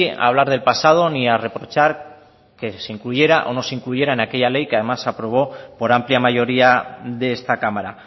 a hablar del pasado ni a reprochar que se incluyera o no se incluyera en aquella ley que además se aprobó por amplia mayoría de esta cámara